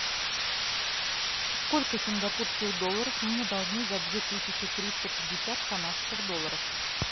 сколько сингапурских долларов мне должны за две тысячи триста пятьдесят канадских долларов